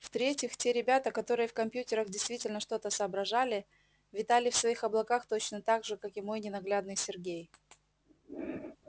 в-третьих те ребята которые в компьютерах действительно что-то соображали витали в своих облаках точно так же как и мой ненаглядный сергей